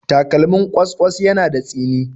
Takalmin ƙwas-ƙwas yana da tsini